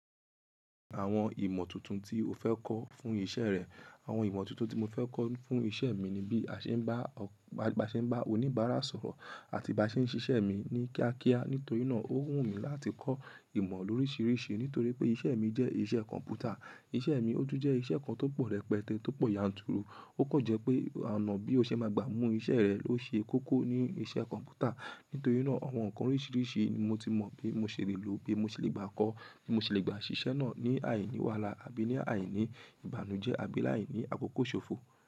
Àwọn ìmọ̀ tuntun tí o fẹ́ kọ́ fún iṣẹ́ rẹ, àwọn ìmọ̀ tuntun tí mo fẹ́ kọ́ fún iṣẹ́ mi ni bí a ṣe ń bá, ba ṣe ń bá oníbàárà sọ̀rọ̀ àti bi á ṣe ń ṣiṣẹ́ mi ní kíákíá. Nítorí náà ó wù mí láti kọ́ ìmọ̀ lóríṣiríṣi nítorí pé iṣẹ́ mi jẹ́ iṣẹ́ kọ̀m̀pútà. Iṣẹ́ mi ó tún jẹ́ iṣẹ́ kan tó pọ̀ rẹpẹtẹ, tó pọ̀ yanturu. Ó kan jẹ́ pé ọ̀nà bí o ṣe máa gbà mú iṣẹ́ rẹ ló ṣe kókó ní iṣẹ́ kọ̀m̀pútà. Nítorí náà àwọn ǹkan oríṣiríṣi ni mo ti mọ̀ bí mo ṣe lè lò ó, bí mo ṣe lè gbà kọ́, bí mo ṣe lè gbà ṣiṣẹ́ náà ní àìní wàhálà àbí ní àìní ìbànújẹ́ àbí láìní àkókò ṣòfò.